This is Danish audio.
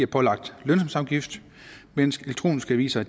pålagt lønsumsafgift mens elektroniske aviser